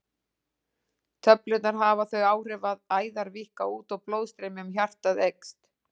Töflurnar hafa þau áhrif að æðar víkka út og blóðstreymi um hjartað eykst.